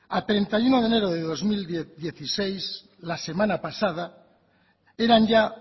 a treinta y uno de enero de dos mil dieciséis la semana pasada eran ya